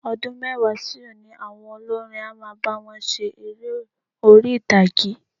Ọdún mẹ́wàá sí òní, àwọn olórin á máa bá wọn ṣe eré orí-ìtàgé.